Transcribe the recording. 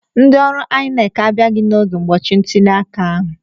Ndị ọrụ INEC abịaghị n'oge ụbọchị ntuliaka ahụ.